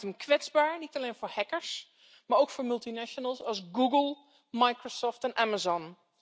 Dat maakt hen kwetsbaar, niet alleen voor hackers maar ook voor multinationals als Google, Microsoft en Amazon.